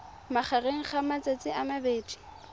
magareng ga matsatsi a mabedi